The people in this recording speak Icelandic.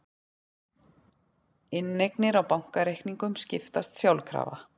Inneignir á bankareikningum skiptast sjálfkrafa